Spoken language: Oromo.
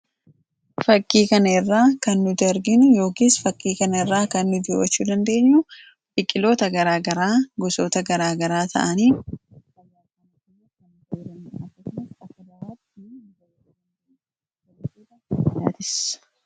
faakkii kanirraa kan nuti arginu yookiis fakkii kanarraa kan nutti mul, achuu dandeenyu biqiloota garaagaraa gosoota garaagaraa ta’aniidha.